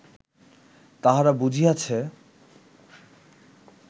"তাহারা বুঝিয়াছে